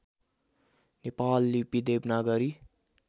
नेपाल लिपि देवनागरी